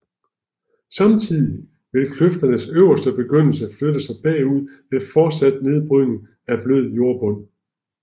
Samtidig vil kløfternes øverste begyndelse flytte sig bagud ved fortsat nedbrydning af blød jordbund